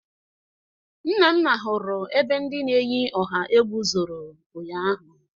Nnanna hụrụ ebe ndị na-eyi ọha egwu zoro ụnyaahụ